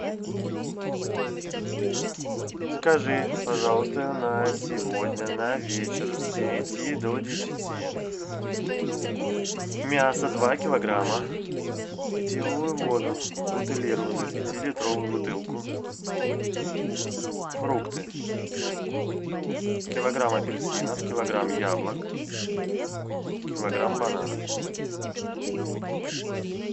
закажи пожалуйста на сегодня на вечер с девяти до десяти мясо два килограмма питьевую воду бутилированную пятилитровую бутылку фрукты килограмм апельсинов килограмм яблок килограмм бананов